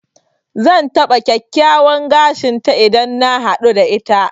Zan taɓa kyakkyawan gashin ta idan na haɗu da ita.